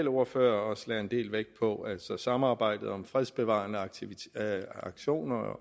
ordfører også lagde en del vægt på altså samarbejdet om fredsbevarende aktioner